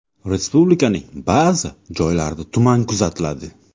Respublikaning ba’zi joylarida tuman kuzatiladi.